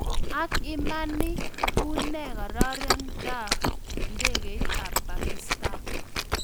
Ang Iman Ii unee kararindaak ndekeit ap pakistan